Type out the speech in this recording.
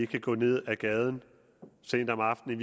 kan gå ned ad gaden sent om aftenen